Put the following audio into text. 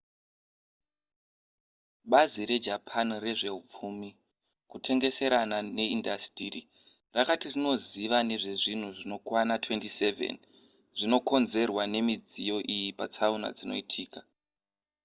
bazi rejapan rezveupfumi kutengeserana neindasitiri rakati rinoziva nezvezvinhu zvinokwana 27 zvinokonzerwa nemidziyo iyi patsaona dzinoitika